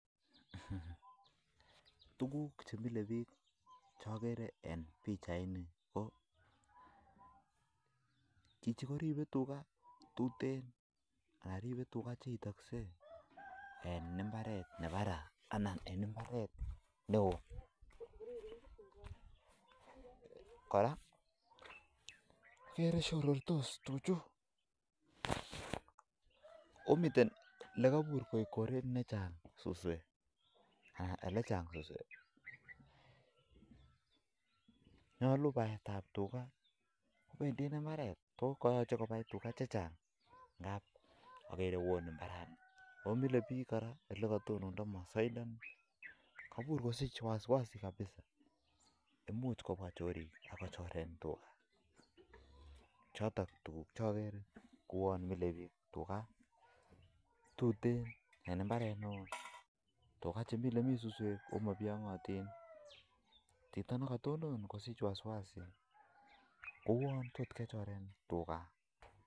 Tukuk chemilebich che agere eng pichanini ko bichu koribei tuga chetuten en imbaret nebarai kot kora akerei shororostos tuchu akokebur kou chang suswek akomile bich kora olekatonondo masaindoni amu tinye wasi wasi kouon tot kechoren tuga